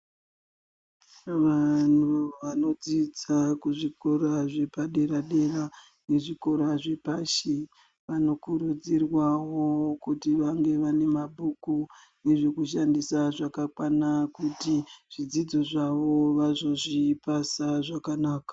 Vanhu vanodzidza kuzvikora zvepadera-dera nezvikora zvepashi vanokurudzirwawo kuti vange vane mabhuku nezvekushandisa zvakakwana kuti zvidzidzo zvavo vazozvipasa zvakanaka.